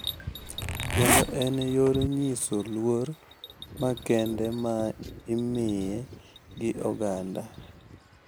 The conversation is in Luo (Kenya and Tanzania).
Kendo en yor nyiso luor makende ma imiye gi oganda.